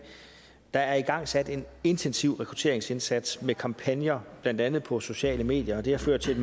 der er igangsat en intensiv rekrutteringsindsats med kampagner blandt andet på sociale medier og det har ført